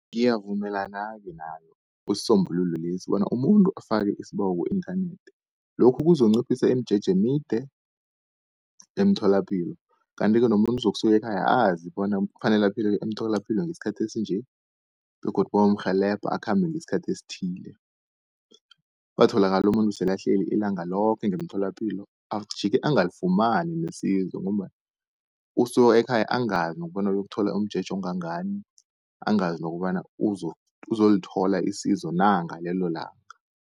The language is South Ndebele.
Ngiyavumelana-ke nayo isisombululo lesi bona umuntu afake isibawo ku-inthanethi, lokhu kuzokunciphisa imijeje emide emtholapilo. Kanti-ke nomuntu uzokusuka ekhaya azi bona kufanele aphelele emtholapilo ngesikhathi esinje begodu bayomrhelebha akhambe ngesikhathi esithile. Kungatholakali umuntu sele ahleli ilanga loke ngemtholapilo ajike angalifumani nesizo, ngombana usuke ekhaya angazi nokobana uyokuthola umjeje ongangani, angazi nokobana uzolithola isizo na ngalelo langa.